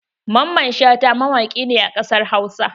Mamman Shata mawaƙi ne a ƙasar Hausa.